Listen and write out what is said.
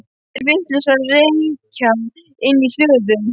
Eru þeir vitlausir að reykja inni í hlöðu?